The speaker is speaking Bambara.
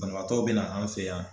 Banabaatɔw bɛ na an fɛ yan